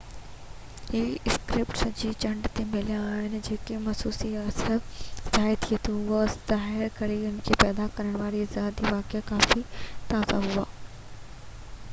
اهي اسڪريپ سڄي چنڊ تي مليا آهن ۽ گهٽ موسمي اثر ظاهر ٿئي ٿو اهو ظاهر ڪري ٿو هن کي پيدا ڪرڻ وارا ارضياتي واقعا ڪافي تازا هئا